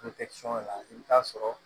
la i bi t'a sɔrɔ